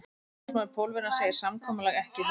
Umboðsmaður Pólverjans segir samkomulag ekki í höfn.